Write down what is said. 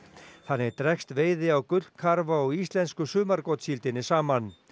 þannig dregst veiði á gullkarfa og íslensku sumargotssíldinni saman